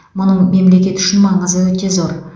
мұның мемлекет үшін маңызы өте зор